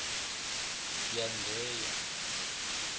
yandheya